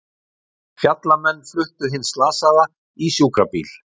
Fjallamenn fluttu hinn slasaða í sjúkrabílinn